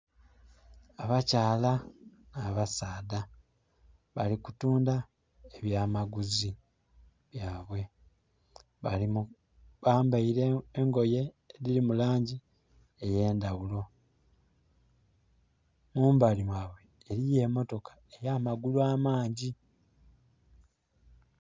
Abakyala na basadha bali kutundha ebyamaguzi byabwe bambeire engoyi edhiri mulangi eyendhaghulo, mumbali mwa bwe eriyo emotoka eyamagulu amangi